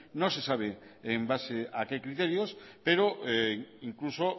no se sabe en base a qué criterios pero incluso